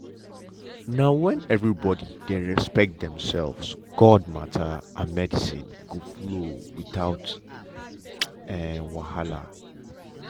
na when everybody dey respect demselves god matter and medicine go flow without um wahala.